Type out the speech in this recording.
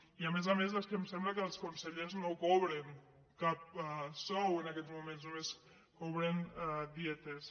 i a més a més és que em sembla que els consellers no cobren cap sou en aquests moments no·més cobren dietes